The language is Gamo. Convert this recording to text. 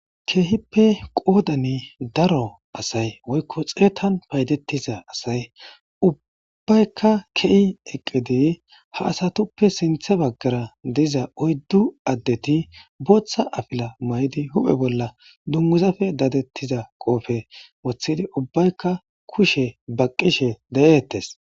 keehippe qoodani daro asay woykko xeetan paydettiza asay ubbaykka ke7i eqqidi ha asatuppe sintha baggara diza oyddu addeti booththa afila may7di huphe bolla dunmuzafe daadettiza qoofe wothidi ubbaykka kushe baqqishe de7ettes